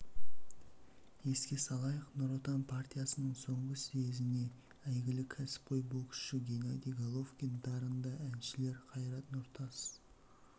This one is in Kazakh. еске салайық нұр отан партиясының соңғы съезіне әйгілі кәсіпқой боксшы геннадий головкин дарынды әншілер қайрат нұртас